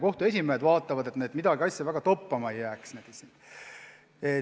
Kohtute esimehed vaatavad, et midagi väga toppama ei jääks.